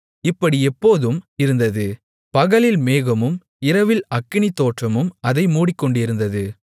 இப்படி எப்போதும் இருந்தது பகலில் மேகமும் இரவில் அக்கினித்தோற்றமும் அதை மூடிக்கொண்டிருந்தது